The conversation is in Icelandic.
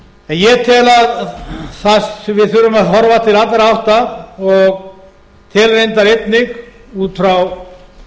ég tel að þar sem við þurfum að horfa til allra átta og tel reyndar einnig út frá